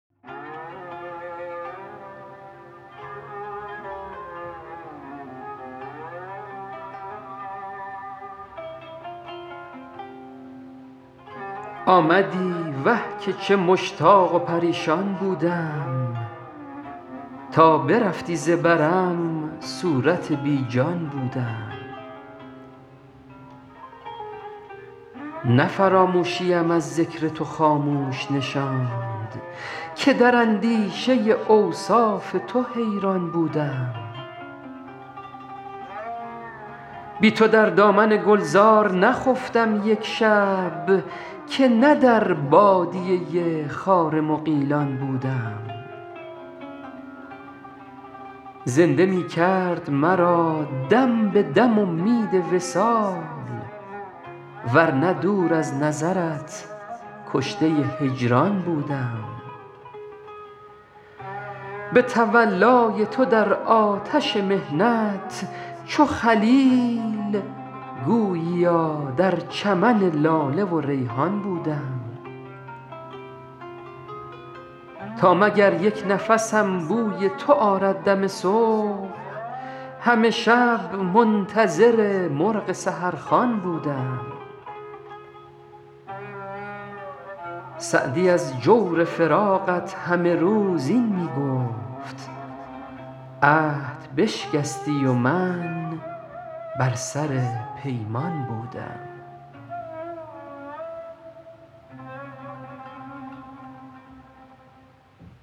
آمدی وه که چه مشتاق و پریشان بودم تا برفتی ز برم صورت بی جان بودم نه فراموشیم از ذکر تو خاموش نشاند که در اندیشه اوصاف تو حیران بودم بی تو در دامن گلزار نخفتم یک شب که نه در بادیه خار مغیلان بودم زنده می کرد مرا دم به دم امید وصال ور نه دور از نظرت کشته هجران بودم به تولای تو در آتش محنت چو خلیل گوییا در چمن لاله و ریحان بودم تا مگر یک نفسم بوی تو آرد دم صبح همه شب منتظر مرغ سحرخوان بودم سعدی از جور فراقت همه روز این می گفت عهد بشکستی و من بر سر پیمان بودم